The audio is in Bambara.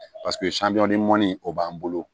Paseke mɔni o b'an bolo